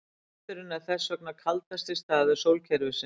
Hnötturinn er þess vegna kaldasti staður sólkerfisins.